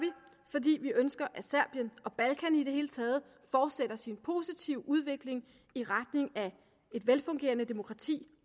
fordi vi ønsker at serbien og balkan i det hele taget fortsætter sin positive udvikling i retning af et velfungerende demokrati